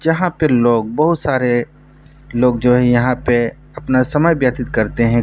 जहाँ पे लोग बहुत सारे लोग जो हैं यहाँ पे अपना समय व्यतीत करते हैं।